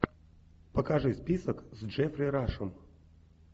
покажи список с джеффри рашем